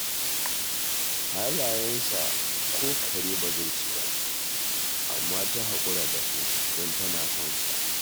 Halayensa ko kare ba zai ci ba, amma ta haƙura da su, don tana son sa